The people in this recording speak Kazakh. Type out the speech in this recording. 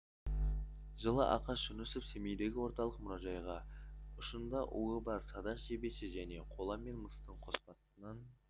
жылы ақаш жүнісов семейдегі орталық мұражайға ұшында уы бар садақ жебесі және қола мен мыстың қоспасынан